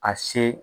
A se